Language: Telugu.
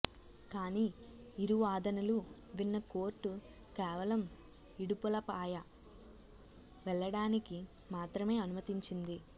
కానీ ఇరువాదనలు విన్న కోర్టు కేవలం ఇడుపులపాయ వెళ్ళడానికి మాత్రమే అనుమతించింది